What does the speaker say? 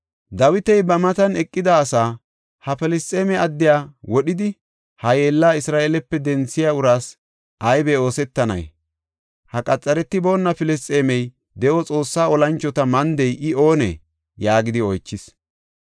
Dawiti ba matan eqida asaa, “Ha Filisxeeme addiya wodhidi, ha yeellaa Isra7eelepe denthiya uraas aybe oosetanay? Ha qaxaretiboona Filisxeemey de7o Xoossaa olanchota mandey I oonee?” yaagidi oychis.